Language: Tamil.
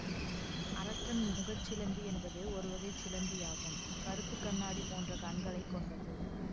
அரக்கன் முகச் சிலந்தி என்பது ஒருவகை சிலந்தியாகும் கறுப்புக்கண்ணாடி போன்ற கண்களை கொண்டது